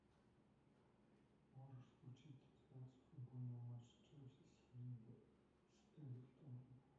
можешь включить трансляцию футбольного матча челси с эвертоном